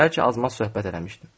Bəlkə azmaz söhbət eləmişdim.